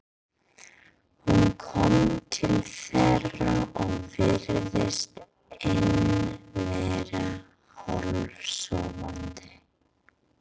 Hún kom til þeirra og virtist enn vera hálfsofandi.